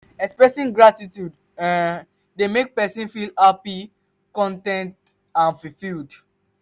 expressing gratitude um dey make pesin feel happy con ten t and fulfilled.